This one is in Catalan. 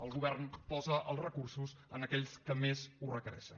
el govern posa els recursos en aquells que més ho requereixen